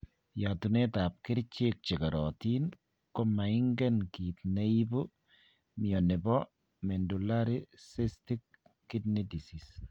yatunet ap kerichek che keriotin komaingen kit ne ipu mioni po Medullary cystic kidney disease?